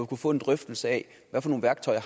kunne få en drøftelse af hvad for nogle værktøjer